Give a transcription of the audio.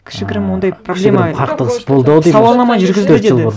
кішігірім ондай проблема кішігірім қақтығыс болды ау сауалнама жүргізді деді